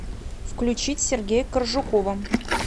включить сергея коржукова